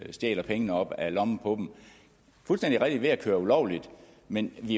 stjæler pengene op af lommen på dem fuldstændig rigtigt ved at køre ulovligt men vi